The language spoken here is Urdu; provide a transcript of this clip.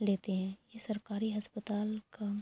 لیتے ہے یہ سرکاری اسپتال کا--